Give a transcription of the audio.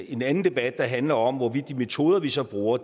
en anden debat der handler om hvorvidt de metoder vi så bruger